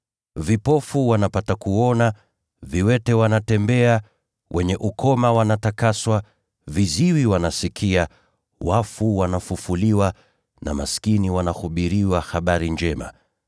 Vipofu wanapata kuona, viwete wanatembea, wenye ukoma wanatakaswa, viziwi wanasikia, wafu wanafufuliwa, na maskini wanahubiriwa habari njema.